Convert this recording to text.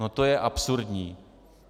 No to je absurdní.